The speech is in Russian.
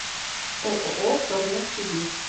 ооо втормет сибирь